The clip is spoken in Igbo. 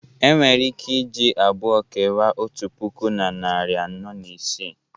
Enwere ike iji abụọ kewaa otu puku na narị anọ na isii